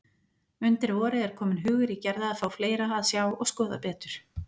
Undir vorið er kominn hugur í Gerði að fá fleira að sjá og skoða betur.